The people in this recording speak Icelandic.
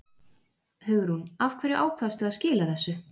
Hugrún: Af hverju ákvaðstu að skila þessu?